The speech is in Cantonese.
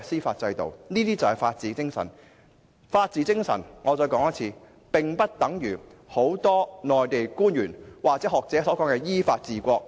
我再說一遍，法治精神並不等於很多內地官員或學者所說的依法治國。